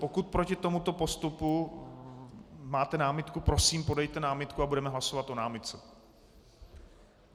Pokud proti tomuto postupu máte námitku, prosím, podejte námitku a budeme hlasovat o námitce.